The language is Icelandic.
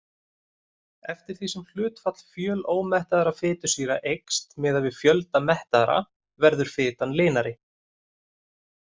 Eftir því sem hlutfall fjölómettaðra fitusýra eykst miðað við fjölda mettaðra verður fitan linari.